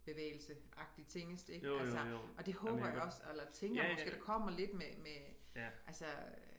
Bevægelseagtig tingest ik altså og det håber jeg også eller tænker måske der kommer lidt med med altså øh